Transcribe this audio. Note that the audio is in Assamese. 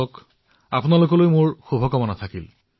ঠিক আছে আপোনালোক সকলোলৈ অশেষ শুভকামনা থাকিল